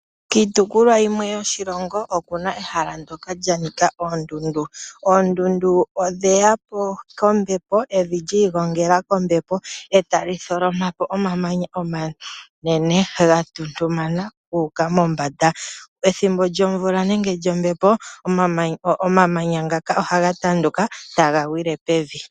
Kiitopolwa yimwe yoshilongo oku na ehala ndoka lya nika oondundu. Oondundu odhe ya po kombepo, evi lyi igongela kombepo e ta li tholoma po omamanya omanene, gatuntumana gu uka mombanda. Ethimbo lyomvula nenge lyombepo, omamanya ngaka ohaga tanduka taga gwile pevi.